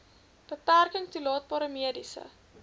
beperking toelaatbare mediese